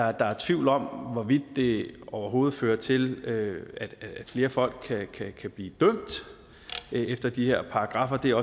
er der tvivl om hvorvidt det overhovedet fører til at flere folk kan kan blive dømt efter de her paragraffer det er